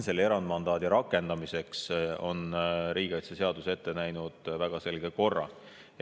Selle erandmandaadi rakendamiseks on riigikaitseseadus ette näinud väga selge korra.